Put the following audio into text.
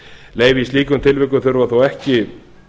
leyfi í slíkum tilvikum þurfa þó ekki